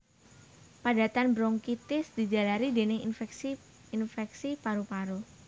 Padatan bronkitis dijalari dèning infèksi infèksi paru paru